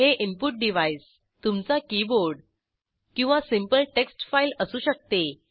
हे input device तुमचा keyboard किंवा सिंपल टेक्स्ट फाईल असू शकते